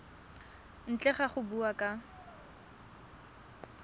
ntle ga go bua ka